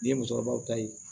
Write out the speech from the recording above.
Ni ye musokɔrɔbaw ta ye